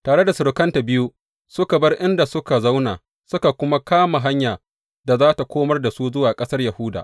Tare da surukanta biyu suka bar inda suka zauna suka kuma kama hanya da za tă komar da su zuwa ƙasar Yahuda.